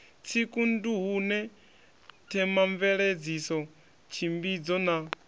tsiku nduhune themamveledziso tshimbidzo na